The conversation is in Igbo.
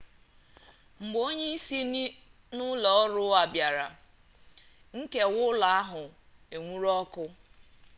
mgbe onye si n'ụlọ ọrụ bịara nkewa ụlọ ahụ enwuru ọkụ